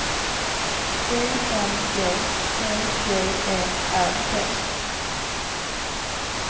I N G E G E R D